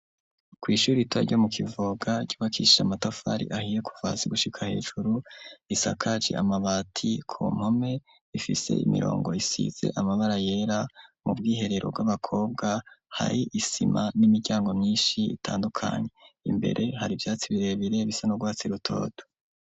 Kw'ishuri ritoya ryo mu Kivoga ryubakishije amatafari ahiye kuva hasi gushika hejuru, risakaje amabati, ku mpome ifise imirongo isize amabara yera, mu bwiherero bw'abakobwa hari isima n'imiryango myinshi itandukanye, imbere hari ivyatsi birebire bisa n'urwatsi rutoto.